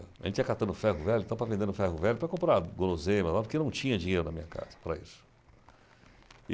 A gente ia catando ferro-velho, então, para vender no ferro-velho, para comprar guloseima lá, porque não tinha dinheiro na minha casa para isso.